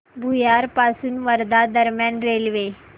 भुयार पासून वर्धा दरम्यान रेल्वे